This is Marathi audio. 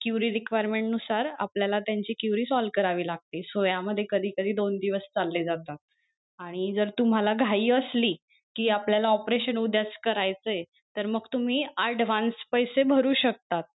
query requerment नुसार आपल्याला त्यांची query solve लागते so या मध्ये कधी कधी दोन दिवस चालले जाता आणि जर तुम्हाला घाई असली कि आपल्याला operation उद्याच करायचय तर मग तुम्ही advance पैसे भरू शकता.